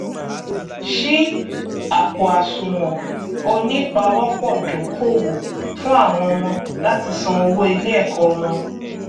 ṣí àpòàsùwọn onípawọpọdókòwò fún àwọn ọmọ láti san owó iléẹkọ wọn